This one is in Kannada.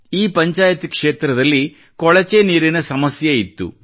ಈ ಪಂಚಾಯತ್ ಕ್ಷೇತ್ರದಲ್ಲಿ ಕೊಳಚೆ ನೀರಿನ ಸಮಸ್ಯೆ ಇತ್ತು